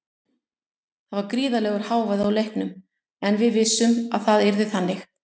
Það var gríðarlegur hávaði á leiknum en við vissum að það yrði þannig.